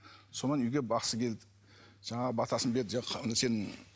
сонан үйге бақсы келді жаңағы батасын берді